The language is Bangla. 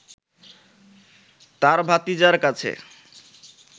তার ভাতিজার কাছে